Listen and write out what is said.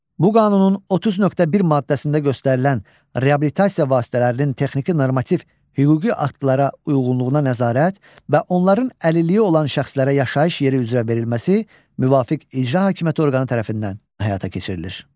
Bu qanunun 30.1 maddəsində göstərilən reabilitasiya vasitələrinin texniki normativ hüquqi aktlara uyğunluğuna nəzarət və onların əlilliyi olan şəxslərə yaşayış yeri üzrə verilməsi müvafiq icra hakimiyyəti orqanı tərəfindən həyata keçirilir.